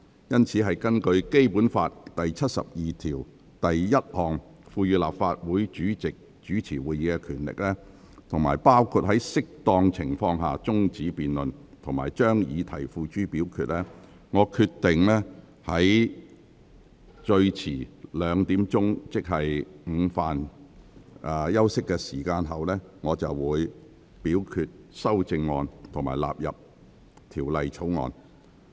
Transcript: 因此，根據《基本法》第七十二條第一項賦予立法會主席主持會議的權力，包括在適當情況下終止辯論及將議題付諸表決，我決定最遲在下午2時，即午飯休息後，表決修正案及條文納入《條例草案》。